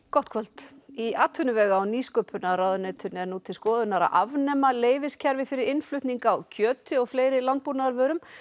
gott kvöld í atvinnuvega og nýsköpunarráðuneytinu er nú til skoðunar að afnema fyrir innflutning á kjöti og fleiri landbúnaðarvörum